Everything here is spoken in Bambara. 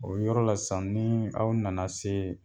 O yɔrɔ la sisan n'aw nana se